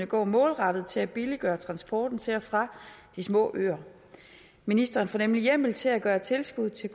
går målrettet til at billiggøre transporten til og fra de små øer ministeren får nemlig hjemmel til at gøre tilskuddet til